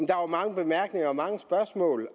der var mange bemærkninger og mange spørgsmål